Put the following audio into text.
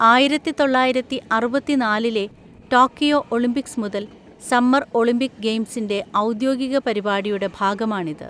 ആയിരത്തി തൊള്ളായിരത്തി അറുപത്തി നാലിലെ ടോക്കിയോ ഒളിമ്പിക്‌സ് മുതൽ, സമ്മർ ഒളിമ്പിക് ഗെയിംസിന്റെ ഔദ്യോഗിക പരിപാടിയുടെ ഭാഗമാണിത്.